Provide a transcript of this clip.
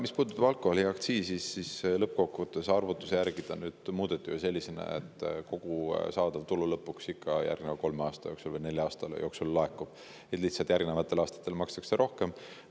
Mis puudutab alkoholiaktsiisi, siis arvutuste järgi seda lõppkokkuvõttes muudeti selliselt, et kogu saadav tulu järgneva kolme või nelja aasta jooksul ikka lõpuks laekub, lihtsalt järgnevatel aastatel makstakse seda rohkem.